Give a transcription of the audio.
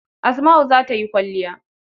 Asma'u za ta yi kwalliya.